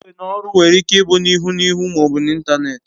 Iwe n'oru were Ike ibu n'ihu n'ihu ma obu n'Ịntanet